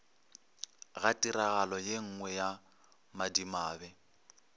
ga tiragalo yenngwe ya madimabe